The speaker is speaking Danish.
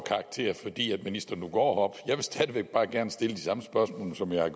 karakter fordi ministeren nu går op jeg vil stadig væk bare gerne stille de samme spørgsmål som jeg har